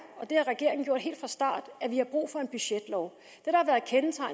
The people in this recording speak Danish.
og det har regeringen gjort helt fra start at vi har brug for en budgetlov